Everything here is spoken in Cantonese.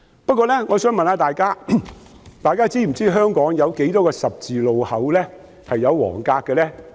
不過，我想問大家是否知道香港有多少個十字路口是劃有黃格的呢？